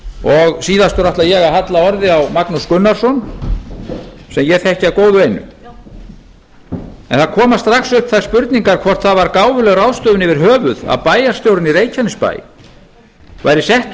og síðastur ætla ég að halla orði á magnús gunnarsson sem ég þekki að góðu einu en það koma strax upp þær spurningar hvort það var gáfuleg ráðstöfun yfir höfuð að bæjarstjórinn í reykjanesbæ væri settur